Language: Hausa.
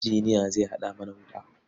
Injiniya zai haɗa mana wuta.